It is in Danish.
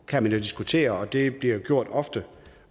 kan man jo diskutere og det bliver gjort ofte